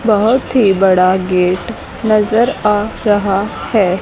बहोत ही बड़ा गेट नजर आ रहा है।